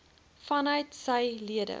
vanuit sy lede